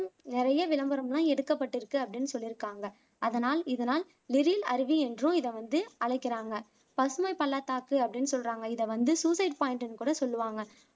நிறைய விளம்பரம்லாம் எடுக்கப்பட்டிருக்கு அப்படின்னு சொல்லிருக்காங்க அதனால் இதனால் லிரில் அருவி என்றும் இத வந்து அழைக்கிறாங்க பசுமை பள்ளத்தாக்கு அப்படின்னு சொல்லுறாங்க இத வந்து சூசைட் பாய்ன்ட்டுன்னு கூட சொல்லுவாங்க